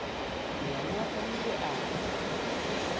yena o ile a tla